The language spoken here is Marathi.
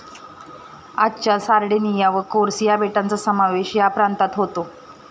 आजच्या सार्डिनिया व कोर्स या बेटांचा समावेश या प्रांतात होतो.